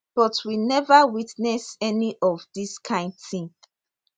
but we neva witness any of dis kain tin